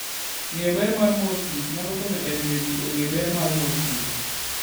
Ng'eyo ber mar mor kich nyalo konyo e miyo ji ong'e ber mar mor kich.